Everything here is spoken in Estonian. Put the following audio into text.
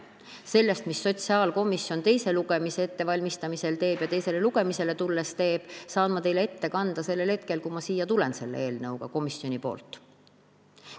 Sellest, mida sotsiaalkomisjon teise lugemise ettevalmistamisel ja teisele lugemisele tulles teeb, saan ma teile ette kanda sellel hetkel, kui ma selle eelnõuga komisjoni nimel siia tulen.